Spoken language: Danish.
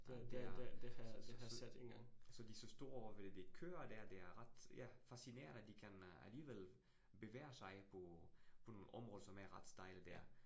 Ja, det er. Så så så så de så står ovre ved de køer der. Det er ret ja fascinerende, at de kan øh alligevel bevæger sig på på nogle områder, som er ret stejle dér